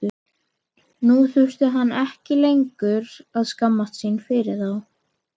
Nú þurfti hún ekki lengur að skammast sín fyrir þá.